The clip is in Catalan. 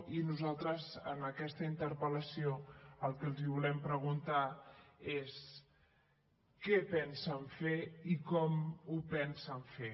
i nosaltres en aquesta interpel·lació el que els volem preguntar és què pensen fer i com ho pensen fer